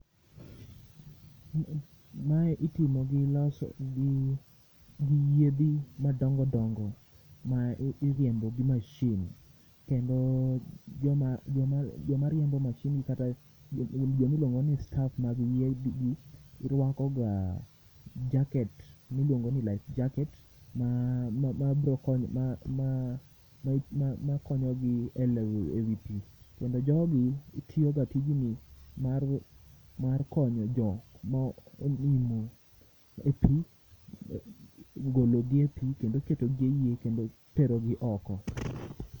Ma e itimo gi yiedhi ma dongo dongo ma iriembo gi machine kendo joma riembo machine ni kata joma iluonga ni[staff]mag yie ni rwako ga jacket ma iluongo ni life jacket ma konyo gi lewo e wi pii kendo jogi tiyo ga tijni mar konyo jok ma onimo e pii golo gi e pii kendo keto gi e yie kendo tero gi oko.